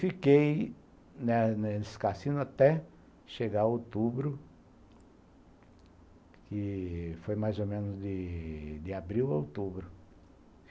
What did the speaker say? Fiquei, né, nesse cassino até chegar em outubro, que foi mais ou menos de abril a outubro.